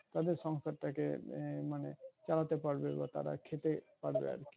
তাতে সংসারটাকে আহ মানে চালাতে পারবে বা তার খেতে পারবে আরকি।